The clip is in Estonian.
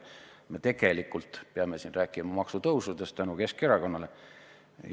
Me tegelikult peame siin rääkima maksutõusudest, tänu Keskerakonnale.